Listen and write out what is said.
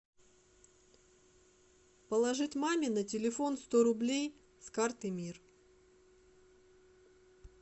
положить маме на телефон сто рублей с карты мир